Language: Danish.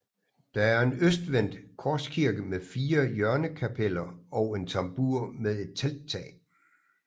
Det er en østvendt korskirke med fire hjørnekapeller og en tambur med et telttag